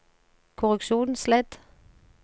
korreksjonsledd